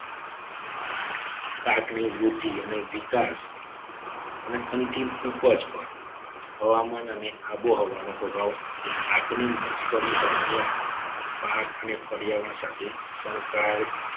પાકની વૃદ્ધિ અને વિકાસ અને અંતિમ ઉપજ પણ હવામાન અને આબોહવાનો પ્રભાવ પાકની મોસમ દરમિયાન પાક અને પર્યાવરણ સાથે સંકળાયેલ